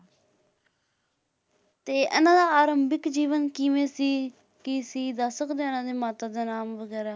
ਤੇ ਇਹਨਾਂ ਦਾ ਆਰੰਭਿਕ ਜੀਵਨ ਕਿਵੇਂ ਸੀ, ਕੀ ਸੀ ਦੱਸ ਸਕਦੇ ਹੋ ਇਹਨਾਂ ਦੇ ਮਾਤਾ ਦਾ ਨਾਮ ਵਗ਼ੈਰਾ?